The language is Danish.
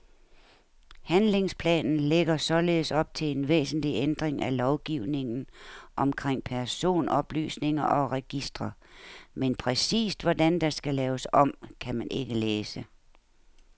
Handlingsplanen lægger således op til en væsentlig ændring af lovgivningen omkring personoplysninger og registre, men præcist, hvordan der skal laves om, kan man ikke læse.